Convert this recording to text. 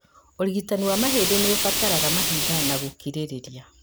ũrigitani wa mahindĩ nĩũbataraga mahinda na gũkirĩrĩria